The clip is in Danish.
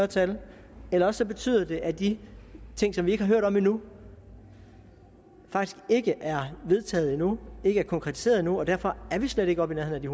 tal eller også betyder det at de ting som vi ikke har hørt om endnu faktisk ikke er vedtaget endnu og ikke er konkretiseret endnu og derfor er vi slet ikke oppe i nærheden af